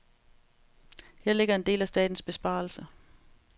Her ligger en del af statens besparelse.